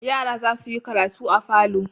Yara za su yi karatu a falo.